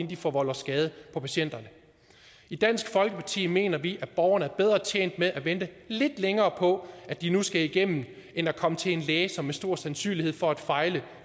de forvolder skade på patienterne i dansk folkeparti mener vi at borgerne er bedre tjent med at vente lidt længere på at de nu skal igennem end at komme til en læge som har stor sandsynlighed for at fejle